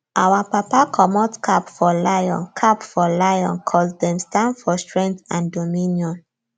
our papa comot cap for lion cap for lion coz dem stand for strength and dominion